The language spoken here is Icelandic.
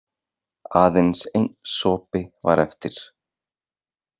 Aðeins einn sopi var eftir.